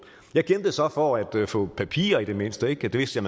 jeg kæmpede så for at få papirer i det mindste ikke det vidste